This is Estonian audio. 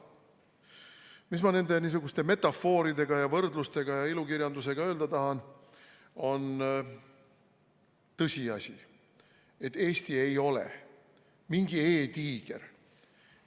Mis ma nende niisuguste metafooridega ja ilukirjanduslike võrdlustega öelda tahan, on tõsiasi, et Eesti ei ole mingi e-tiiger.